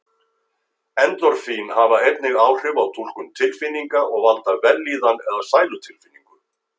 Endorfín hafa einnig áhrif á túlkun tilfinninga og valda vellíðan eða sælutilfinningu.